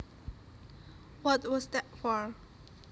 What was that for